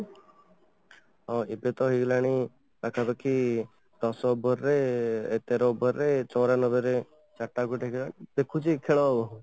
ହଁ, ଏବେ ତ ହେଇଗଲାଣି ମାନେ ପାଖା ପାଖି ଦଶ over ରେ ଏତେ ତା over ରେ ଚୌରାନବେ ରେ ଚାରିଟା wicket ଗଲାଣି ଦେଖୁଛି ଖେଳ